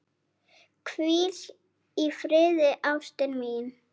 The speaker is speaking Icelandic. Hvíl í friði ástin mín.